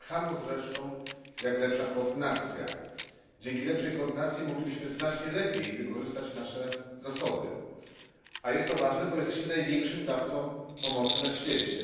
Tak samo z resztą jak lepsza koordynacja. Dzięki lepszej koordynacji moglibyśmy znacznie lepiej wykorzystać nasze zasoby, a jest to ważne, ponieważ jesteśmy największym dawcą pomocy na świecie.